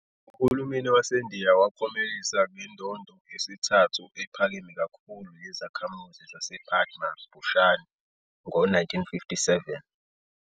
Uhulumeni waseNdiya wamklomelisa ngendondo yesithathu ephakeme kakhulu yezakhamuzi zasePadma Bhushan ngo-1957.